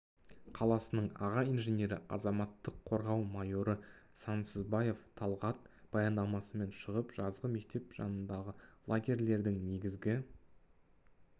қаласының аға инженері азаматтық қорғау майоры сансызбаев талғат баяндамасымен шығып жазғы мектеп жанындағы лагерлердің негізгі